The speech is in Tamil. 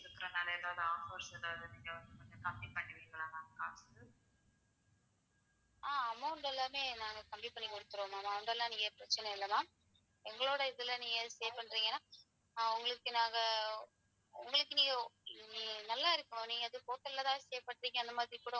,